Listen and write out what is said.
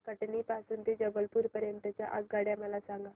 कटनी पासून ते जबलपूर पर्यंत च्या आगगाड्या मला सांगा